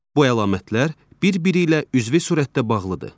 Bu əlamətlər bir-biri ilə üzvü surətdə bağlıdır.